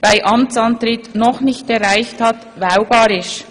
bei Amtsantritt noch nicht erreicht hat» wählbar ist.